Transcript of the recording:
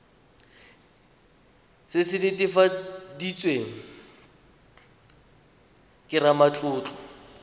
se se netefaditsweng ke ramatlotlo